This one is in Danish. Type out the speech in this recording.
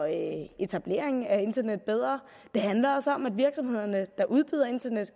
etablering af internet bedre det handler også om at virksomhederne der udbyder internet